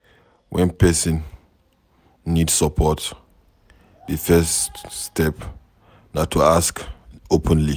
When person need support, di first step na to ask openly